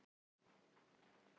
hvert tilfelli er einstakt